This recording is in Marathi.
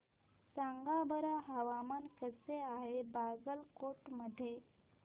सांगा बरं हवामान कसे आहे बागलकोट मध्ये